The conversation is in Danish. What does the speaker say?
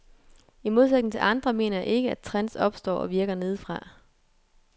I modsætning til andre mener jeg ikke, at trends opstår og virker nedefra.